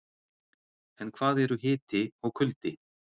en hvað eru hiti og kuldi